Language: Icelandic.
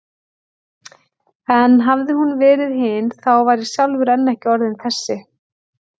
En hafi hún verið hin þá var ég sjálfur enn ekki orðinn þessi.